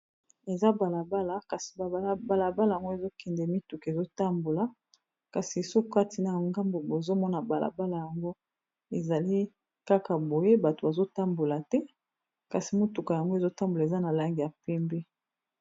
Tozali bongo komona balabala ya munene esika mituka elekaka. Na elili na biso tozomona bus ezo leka ezali na langi ya pembe.